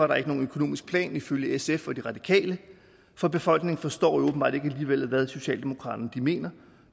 der ikke nogen økonomisk plan ifølge sf og de radikale for befolkningen forstår jo åbenbart alligevel ikke hvad socialdemokratiet mener